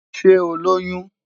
Ṣe o Loyun?